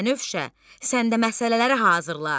Bənövşə, səndə məsələləri hazırla.